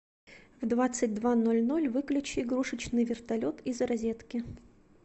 в двадцать два ноль ноль выключи игрушечный вертолет из розетки